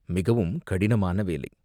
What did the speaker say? மிகவும் கடினமான வேலை.